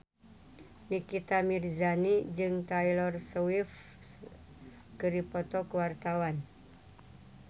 Nikita Mirzani jeung Taylor Swift keur dipoto ku wartawan